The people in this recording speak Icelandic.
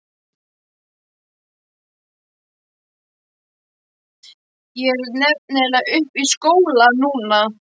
Ég er nefnilega uppi í skóla núna.